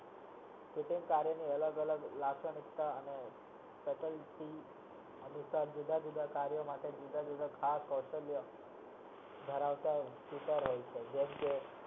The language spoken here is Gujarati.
Fitting કાર્ય ની જુદા જુદા ભાગના ધરાવતા હોય છે